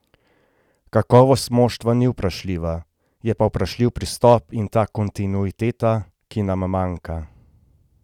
Kakovost moštva ni vprašljiva, je pa vprašljiv pristop in ta kontinuiteta, ki nam manjka.